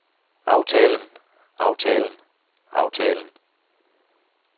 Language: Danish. aftalen aftalen aftalen